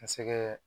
Ka se kɛ